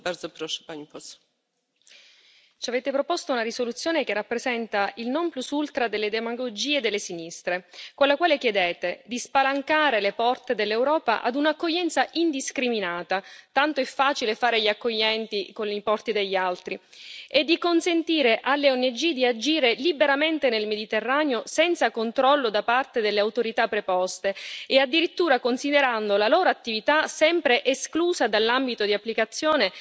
Signora Presidente, onorevoli colleghi, ci avete proposto una risoluzione che rappresenta il non plus ultra delle demagogie delle sinistre, con la quale chiedete di spalancare le porte dell'Europa ad una accoglienza indiscriminata tanto è facile fare gli accoglienti con i porti degli altri e di consentire alle ONG di agire liberamente nel Mediterraneo, senza controllo da parte delle autorità preposte, e addirittura considerando la loro attività sempre esclusa dall'ambito di applicazione